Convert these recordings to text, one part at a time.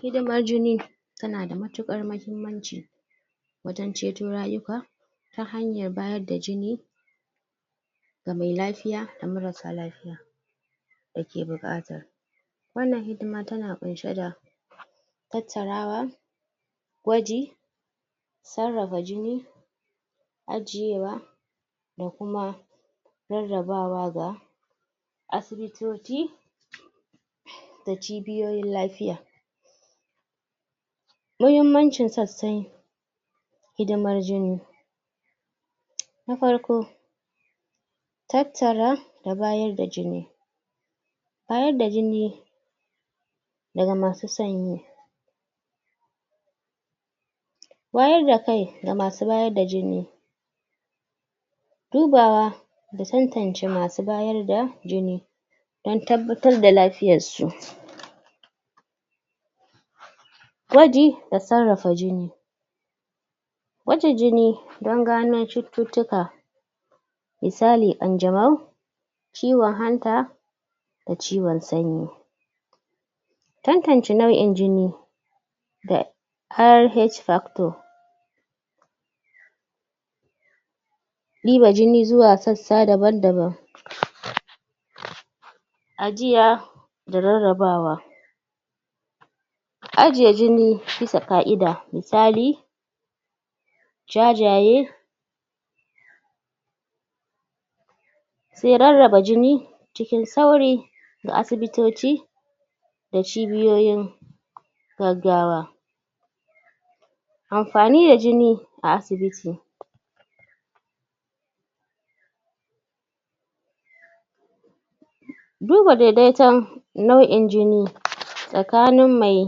Hidimar jini tana da matuƙar mahimmanci wajen ceto rayuka ta hanyar bayar da jini ga me lafiya da marasa lafiya dake buƙata wannan hidima tana ƙunshe da tattarawa gwaji sarrafa jini ajiyewa da kuma rarrabawa ga asibitoci da cibiyoyin lafiya mahimmancin sassai hidimar jini na farko tattara da bayar da jini bayar da jini daga masu san shi wayar da kai ga masu bayar da jini dubawa da tantance masu bayar da jin dan tabbatar da lafiyarsu gwaji da sarrafa jini gwaja jini dan gano cututtuka misali ƙanzamau ciwon hanta da ciwon sanyi tantance nau'in jini da har H factor ɗiba jini zuwa sassa daban-daban ajiya da rarrabawa ajiye jini bisa ka'ida misali jajaye se rarraba jini cikin sauri ga asibitoci da cibiyoyin gaggawa amfani da jin a asibiti du ba dedeton nau'in jini tsakanin mai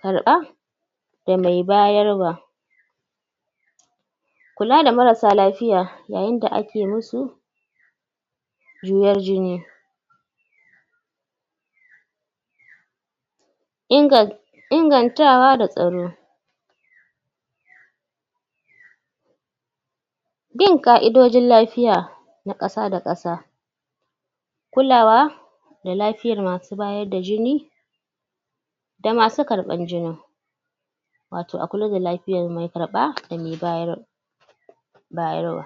karɓa da mai bayarwa kula da marsa lafiya yayin da ake musu juyen jini um ingantawa da tsaro bin ƙa'idojin lafiya na ƙasa-da-ƙasa kulawa da lafiyar masu bayar da jini da masu karɓan jinin wato a kula da lafiyar mai karɓa da mai bayar um bayarwa